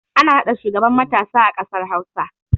Ana naɗa shugaban matasa a ƙasar hausa